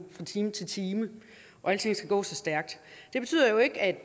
fra time til time og alting går så stærkt det betyder jo ikke at